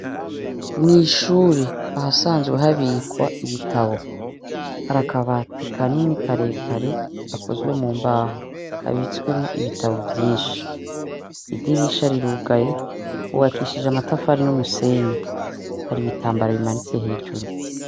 Mw'ishure ahasanzwe habikwa ibitabu. Hari akabati kanini karekare gakozwe mu mbaho, kabitswemwo ibitabu vyinshi. Idirisha rirugaye, hubakishije amatafari n'umusenyi. Hari ibitambara bimanitse hejuru.